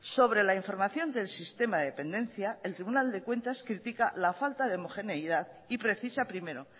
sobre la información del sistema de dependencia el tribunal de cuentas critica la falta de homogeneidad y precisa primero